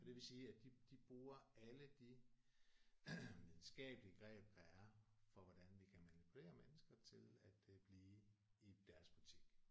Og det vil sige at de de bruger alle de videnskabelige greb der er for hvordan vi kan manipulere mennesker til at øh blive i deres butik